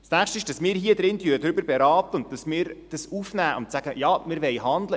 Das Nächste ist, dass wir hier drin darüber beraten und dass wir es aufnehmen und sagen: «Ja, wir wollen handeln.